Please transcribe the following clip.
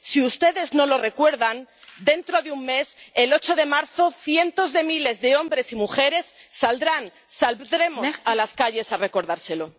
Si ustedes no lo recuerdan, dentro de un mes, el 8 de marzo, cientos de miles de hombres y mujeres saldrán, saldremos a las calles a recordárselo.